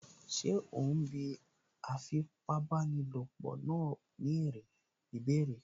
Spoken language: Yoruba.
Ṣé òún bí afipábanílòpọ̀ náà ní ìbéèrè?